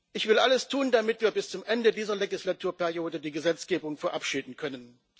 Ich will alles tun, damit wir bis zum Ende dieser Legislaturperiode die Gesetzgebung verabschieden können.